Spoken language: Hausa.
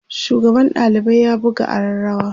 shugaban ɗalibai ya buga arrarawa